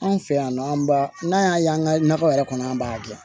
Anw fɛ yan nɔ an b'a n'an y'a ye an ka nakɔ yɛrɛ kɔnɔ an b'a gɛn